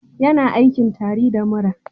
Yana aikin tari da mura